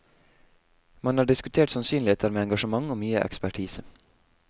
Man har diskutert sannsynligheter med engasjement og mye ekspertise.